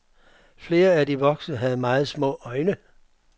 Flere af de voksne havde meget små øjne.